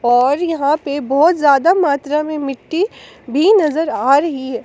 और यहां पे बहुत ज्यादा मात्रा में मिट्टी भी नजर आ रही है।